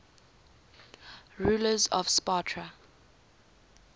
rulers of sparta